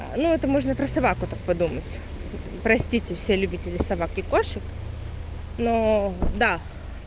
ну это можно про собаку так подумать простите все любители собак и кошек но да